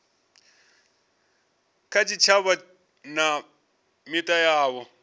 kha tshitshavha na mita yavho